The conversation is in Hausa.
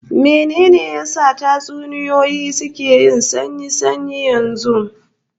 Mene ne ya sa tatsuniyoyi suka yi sanyi sanyi yanzu?